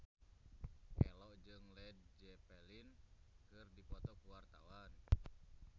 Ello jeung Led Zeppelin keur dipoto ku wartawan